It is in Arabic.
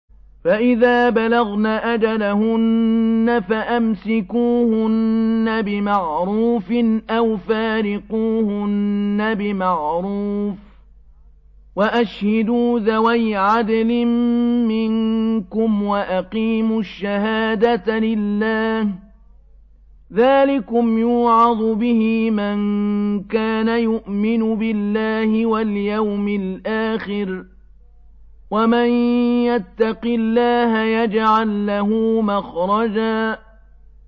فَإِذَا بَلَغْنَ أَجَلَهُنَّ فَأَمْسِكُوهُنَّ بِمَعْرُوفٍ أَوْ فَارِقُوهُنَّ بِمَعْرُوفٍ وَأَشْهِدُوا ذَوَيْ عَدْلٍ مِّنكُمْ وَأَقِيمُوا الشَّهَادَةَ لِلَّهِ ۚ ذَٰلِكُمْ يُوعَظُ بِهِ مَن كَانَ يُؤْمِنُ بِاللَّهِ وَالْيَوْمِ الْآخِرِ ۚ وَمَن يَتَّقِ اللَّهَ يَجْعَل لَّهُ مَخْرَجًا